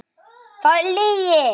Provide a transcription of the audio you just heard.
Það er lygi!